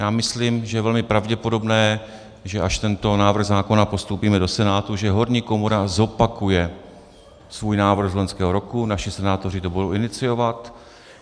Já myslím, že je velmi pravděpodobné, že až tento návrh zákona postoupíme do Senátu, že horní komora zopakuje svůj návrh z loňského roku, naši senátoři to budou iniciovat.